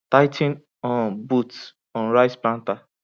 tigh ten um bolts on rice planter